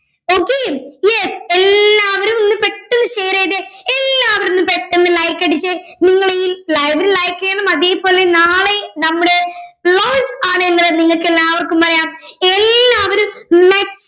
okay yes എല്ലാവരും ഒന്ന് പെട്ടെന്ന് share ചെയ്തേ എല്ലാവരും ഒന്ന് പെട്ടെന്ന് like അടിച്ചേ നിങ്ങളിൽ എല്ലാവരും like ചെയ്യണം അതേപോലെ നാളെ നമ്മുടെ നിങ്ങൾക്കെല്ലാവർക്കും പറയാം എല്ലാവരും